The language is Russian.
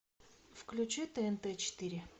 включи тнт четыре